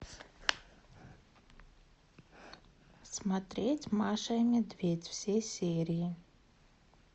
смотреть маша и медведь все серии